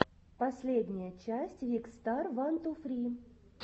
последняя часть викстар ван ту фри